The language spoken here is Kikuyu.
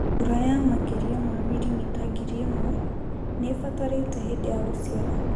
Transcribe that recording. Mbura ya makĩria ma mirimita ngiri ĩmwe nĩĩbatarĩte hĩndĩ ya gũciara